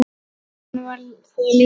Hún var það líka.